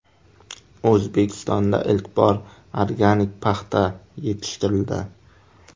O‘zbekistonda ilk bor organik paxta yetishtirildi.